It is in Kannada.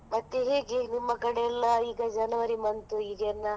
ಮತ್ತೆ ಹೇಗೆ ನಿಮ್ಮ ಕಡೆಯೆಲ್ಲ ಈಗ January month ಈಗ ಎಲ್ಲಾ.